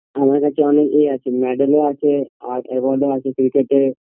আমার কাছে অনেক এ আছে medel ও আছে আর award ও আছে ক্রিকেটাএর